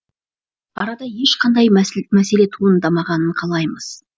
арада ешқандай мәселе туындамағанын қалаймыз